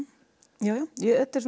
já þetta er